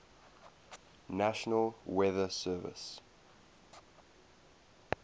national weather service